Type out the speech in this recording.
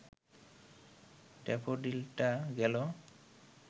ড্যাফোডিলটা গেল